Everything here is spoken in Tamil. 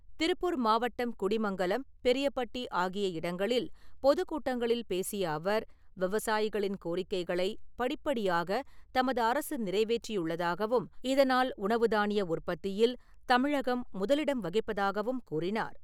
திருப்பூர் மாவட்டம் குடிமங்கலம் , பெரியபட்டி ஆகிய இடங்களில் பொதுக்கூட்டங்களில் பேசிய அவர் , விவசாயிகளின் கோரிக்கைகளை படிப்படியாக தமது அரசு நிறைவேற்றியுள்ளதாகவும் இதனால் உணவு தானிய உற்பத்தியில் தமிழகம் முதலிடம் வகிப்பதாகவும் கூறினார் .